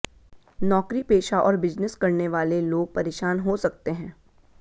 नौकरीपेशा और बिजनेस करने वाले लोग परेशान हो सकते हैं